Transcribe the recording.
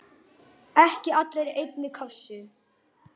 Ekki allir í einni kássu!